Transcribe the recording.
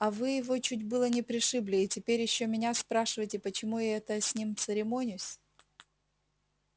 а вы его чуть было не пришибли и теперь ещё меня спрашиваете почему это я с ним церемонюсь